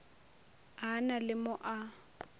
a na le mo a